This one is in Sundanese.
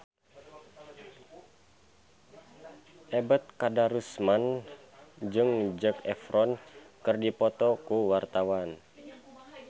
Ebet Kadarusman jeung Zac Efron keur dipoto ku wartawan